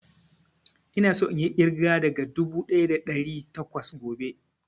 Ina so inyi ƙirga daga dubu ɗaya da ɗari takwas gobe